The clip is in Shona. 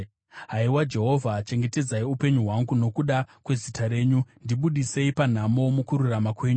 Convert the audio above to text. Haiwa Jehovha, chengetedzai upenyu hwangu nokuda kwezita renyu; ndibudisei panhamo, mukururama kwenyu.